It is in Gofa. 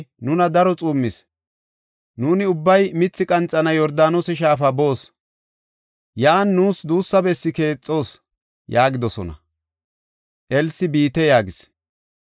Nuuni ubbay mithi qanxanaw Yordaanose Shaafa boos. Yan nuus duussa bessi keexoos” yaagidosona. Elsi, “Biite” yaagis.